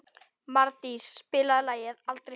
Mardís, spilaðu lagið „Aldrei fór ég suður“.